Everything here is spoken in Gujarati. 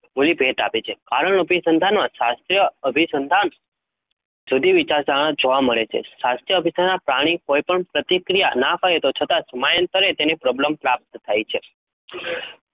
મૂલી ભેટ આપી છે કારણ અભિસંધાનમાં શાસ્ત્રીય અભિસંધાન જુદી વિચારધારણા જોવા મળે છે. શાસ્ત્રીય અભિસંધાન પ્રાણી કોઈપણ પ્રતિક્રિયા ન અપાય તો છતાં સમયાંતરે પ્રબલન પ્રાપ્ત થાય છે.